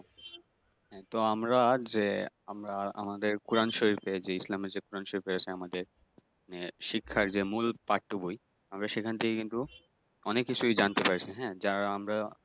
তো আমরা যে আমরা আমাদের কোরআন শর্রীফে যে ইসলামে যে কোরআন শরীফ আছে আমাদের শিক্ষার যে মূল পাঠ্যবই আমরা সেইখান থেকে কিন্তু অনেক কিছুই জানতে পারি হ্যাঁ যার আমরা